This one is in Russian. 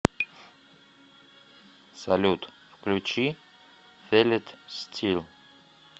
салют включи фил ит стил